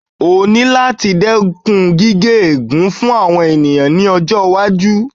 O ní láti dẹ́kun gíge fún àwọn ènìyàn ní ọjọ́-iwájú.